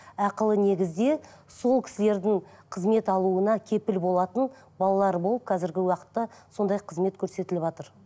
ақылы негізде сол кісілердің қызмет алуына кепіл болатын балалар болып қазіргі уақытта сондай қызмет көрсетіліватыр